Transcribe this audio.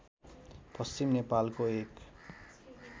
पश्चिम नेपालको एक